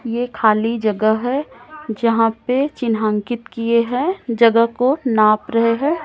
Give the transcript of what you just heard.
ये खाली जगह है जहाँ पे चिन्हांकित किए है जगह को नाप रहे है।